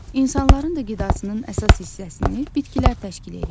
İnsanların da qidasının əsas hissəsini bitkilər təşkil eləyir.